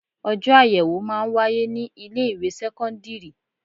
Ojọ́ ayẹwo máa ń wáyé ní ilé ìwé sẹ́kọ́ńdírì.